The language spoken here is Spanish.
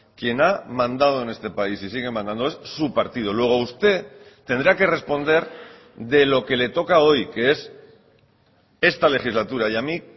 quien ha mandado en este país y sigue mandando es su partido luego usted tendrá que responder de lo que le toca hoy que es esta legislatura y a mí